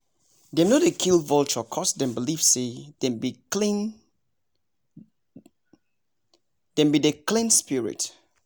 dem no dey kill vulture coz dem believe say dem be dey clean spirit